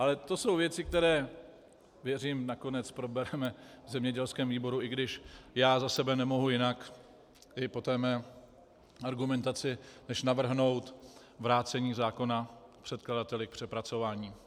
Ale to jsou věci, které, věřím, nakonec probereme v zemědělském výboru, i když já za sebe nemohu jinak po té své argumentaci než navrhnout vrácení zákona předkladateli k přepracování.